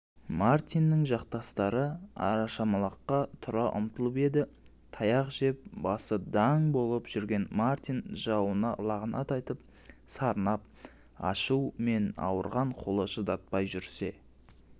мартиннің жақтастары арашаламаққа тұра ұмтылып еді таяқ жеп басы даң болып жүрген мартин жауына лағнат айтып сарнап ашу мен ауырған қолы шыдатпай жүрсе